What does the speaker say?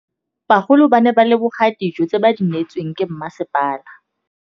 Bagolo ba ne ba leboga dijô tse ba do neêtswe ke masepala.